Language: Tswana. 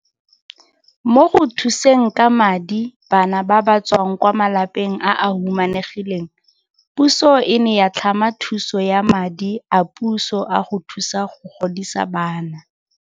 Mo go thuseng ka madi bana ba ba tswang kwa malapeng a a humanegileng puso e ne ya tlhama thuso ya madi a puso a go thusa go godisa bana.